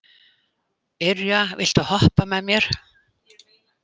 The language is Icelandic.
Irja, viltu hoppa með mér?